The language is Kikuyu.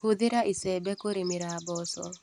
Hũthĩra icembe kũrĩmĩra mboco.